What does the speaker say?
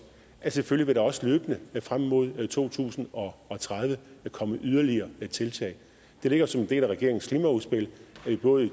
at der selvfølgelig også løbende frem mod to tusind og tredive kommer yderligere tiltag det ligger som en del af regeringens klimaudspil at både i